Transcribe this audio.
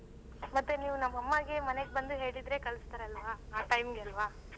ಮತ್ತೆ ನೀವ್ ನಮ್ ಅಮ್ಮಗೆ ಮನೆಗ್ ಬಂದ್ ಹೇಳಿದ್ರೆ ಕಲ್ಸ್ತರಲ್ವ ಆ time ಗೆ ಅಲ್ವ.